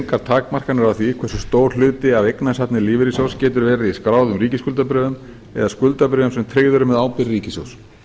engar takmarkanir á því hversu stór hluti af eignasafni lífeyrissjóðs getur verið í skráðum ríkisskuldabréfum eða skuldabréfum sem tryggð eru með ábyrgð ríkissjóðs